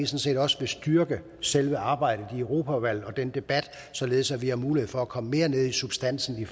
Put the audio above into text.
set også vil styrke selve arbejdet i europaudvalget og den debat således at vi har mulighed for at komme mere ned i substansen i